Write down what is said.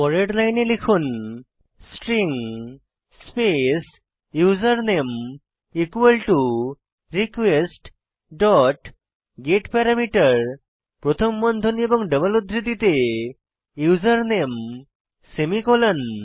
পরের লাইনে লিখুন string space username request dot get parameter প্রথম বন্ধনী এবং ডাবল উদ্ধৃতিতে ইউজারনেম সেমিকোলন